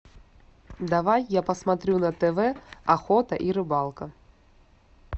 давай я посмотрю на тв охота и рыбалка